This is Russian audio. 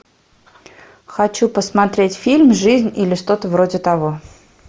хочу посмотреть фильм жизнь или что то вроде того